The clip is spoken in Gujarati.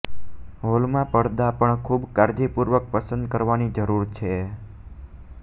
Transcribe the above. હોલમાં પડદા પણ ખૂબ કાળજીપૂર્વક પસંદ કરવાની જરૂર છે